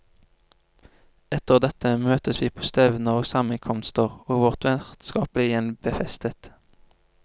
Etter dette møttes vi på stevner og sammenkomster, og vårt vennskap ble igjen befestet.